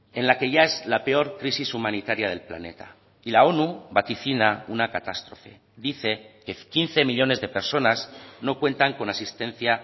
en la que ya es la peor crisis humanitaria del planeta y la onu vaticina una catástrofe dice que quince millónes de personas no cuentan con asistencia